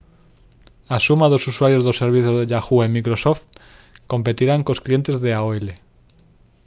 a suma dos usuarios dos servizos de yahoo e microsoft competirán cos clientes de aol